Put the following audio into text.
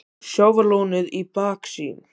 Sjávarlónið í baksýn.